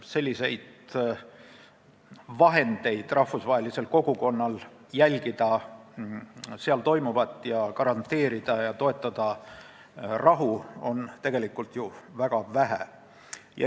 Selliseid vahendeid, mille abil saab rahvusvaheline kogukond jälgida seal toimuvat ja toetada rahu garanteerimist, on ju tegelikult väga vähe.